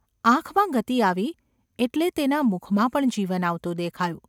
આંખમાં ગતિ આવી એટલે તેના મુખમાં પણ જીવન આવતું દેખાયું.